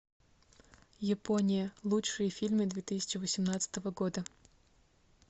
япония лучшие фильмы две тысячи восемнадцатого года